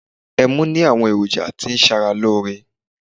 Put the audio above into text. Ẹmu ní àwọn èròjà tó ń ṣara lóore.